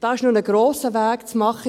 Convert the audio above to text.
da ist noch ein grosser Weg zu machen.